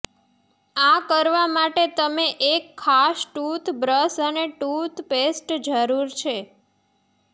આ કરવા માટે તમે એક ખાસ ટૂથબ્રશ અને ટૂથપેસ્ટ જરૂર છે